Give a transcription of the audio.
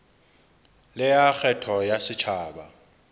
le ya kgetho ya setjhaba